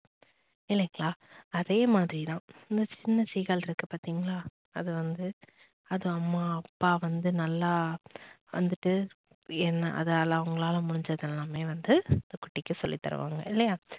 இல்லைங்களா. அதே மாதிரி தான் இந்த சின்ன seegal இருக்கு பாத்தீங்களா அது வந்து அது அம்மா, அப்பா வந்து நல்லா வந்துட்டு என்ன அதால அவங்களால முடிஞ்சது எல்லாமே வந்து அந்த குட்டிக்கு சொல்லி தருவாங்க. இல்லயா